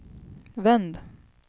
vänd